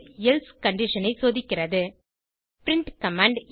else condition ஐ சோதிக்கிறது print command